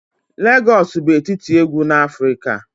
Lagos bụ etiti egwu na Afrika.